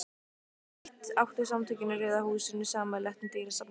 Því eitt áttu Samtökin í Rauða húsinu sameiginlegt með dýrasafni